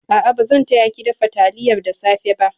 A'a, ba zan taya ki dafa taliyar da safe ba.